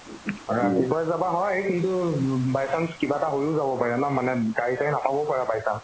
ৰাতিপুৱাই যাবা হয় কিন্তু উম by chance কিবা এটা হৈও যাব পাৰে ন মানে গাড়ী -চাড়ী নাপাবও পাৰা by chance